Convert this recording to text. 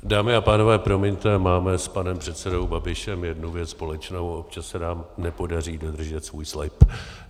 Dámy a pánové, promiňte, máme s panem předsedou Babišem jednu věc společnou - občas se nám nepodaří dodržet svůj slib.